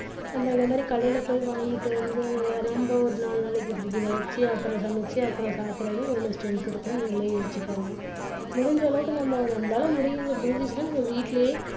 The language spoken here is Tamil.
நம்ம இந்த மாதிரி கடையில போய் வாங்கிட்டு வந்து நம்ப ஒரு நாலு நாளைக்கி fridge ல வெச்சு அப்புறம் சமைச்சு அப்புறம் சாப்பிடுறது எவ்வளவு strength இருக்கும்னு நீங்களே யோசிச்சு பாருங்க முடிஞ்ச அளவுக்கு நம்ம நம்மளால முடியு~ முடிஞ்சுச்சுன்னா வீட்டுலேயே